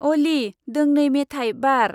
अली, दोंनै मेथाय बार।